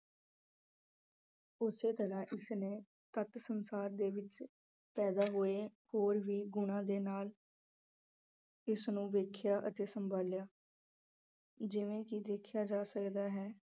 ਉਸੇ ਤਰਾਂ ਇਸ ਨੇ ਤੱਥ ਸੰਸਾਰ ਦੇ ਵਿੱਚ ਪੈਦਾਂ ਹੋਏ ਹੋਰ ਵੀ ਗੁਣਾਂ ਦੇ ਨਾਲ ਇਸ ਨੂੰ ਵੇਖਿਆਂ ਅਤੇ ਸੰਭਾਲਿਆਂ ਜਿਵੇਂ ਕਿ ਦੇਖਿਆਂ ਜਾ ਸਕਦਾ ਹੈ।